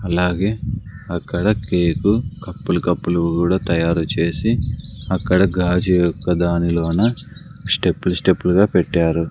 అలాగే అక్కడ cake cup లు కప్పు లు కూడా తయారు చేసి అక్కడ గాజు యొక్క దానిలోన స్టెప్పు లు స్టెప్పు ల్ గా పెట్టారు.